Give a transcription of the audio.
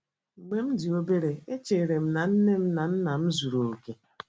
“ Mgbe m dị obere, echere m na nne m na nna m zuru okè.